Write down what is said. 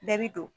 Bɛɛ bi don